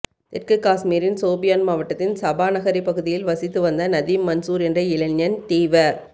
தெற்கு காஷ்மீரின் சோபியான் மாவட்டத்தில் சபாநகரி பகுதியில் வசித்து வந்த நதீம் மன்சூர் என்ற இளைஞன் தீவ